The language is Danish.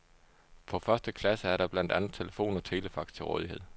På første klasse er der blandt andet telefon og telefax til rådighed.